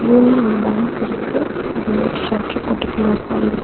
union bank இருக்கு அது shutter போட்டு க்ளோஸ் ஆயிரு --